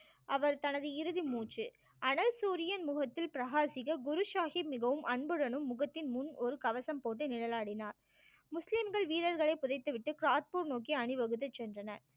அவர் தனது இறுதி மூச்சு அனல் சூரியன் முகத்தில் பிரகாசிக்க குரு சாஹிப் மிகவும் அன்புடனும் முகத்தின் முன் ஒரு கவசம் போல நிழல் ஆடினார் முஸ்லிம்கள் வீர்ர்களை புதைத்து விட்டு காட்பூர் நோக்கி அணிவகுத்துச் சென்றனர்